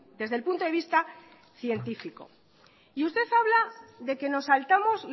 desde el punto de vista científico y usted habla de que nos saltamos